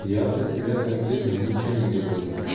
я про тебя конкретно ничего не говорю